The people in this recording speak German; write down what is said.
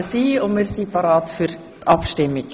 Somit sind wir bereit für die Abstimmung.